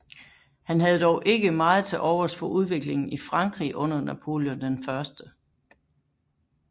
Han havde dog ikke meget til overs for udviklingen i Frankrig under Napoleon I